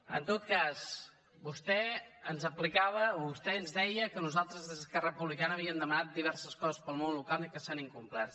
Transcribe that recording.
en tot cas vostè ens aplicava o vostè ens deia que nosaltres des d’esquerra republicana havíem demanat diverses coses per al món local i que s’han incomplert